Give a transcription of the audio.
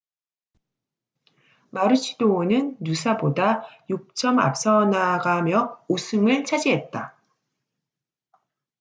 마루치도어는 누사보다 6점 앞서나가며 우승을 차지했다